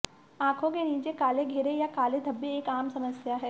आंखों के नीचे काले घेरे या काले धब्बे एक आम समस्या है